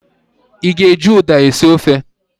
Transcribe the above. Ị ga-eji Uda esi ofe?